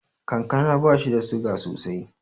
Kankana bashi da suga sosai.